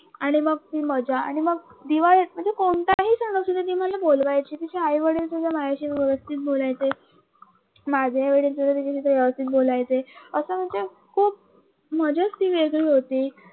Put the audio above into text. आणि मग ती मजा आणि मग दिवाळीत म्हणजे कोणत्याही सन असू देत मग ती मला बोलवायची तिची आई वडील सुद्धा माझ्याशी व्यवस्थित बोलायच माझी आई वडील सुद्धा तीचाशी व्यवस्थित बोलायचे अस म्हणजे मजाच ती वेगळी होती